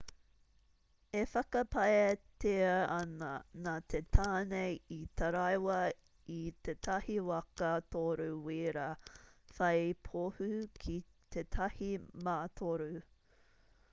e whakapaetia ana nā te tāne i taraiwa i tētahi waka toru-wīra whai pohū ki tētahi mātoru